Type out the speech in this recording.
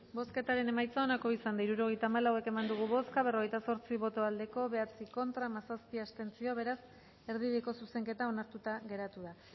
bozketaren emaitza onako izan da hirurogeita hamalau eman dugu bozka berrogeita zortzi boto aldekoa bederatzi contra hamazazpi abstentzio beraz erdibideko zuzenketa onartuta geratu da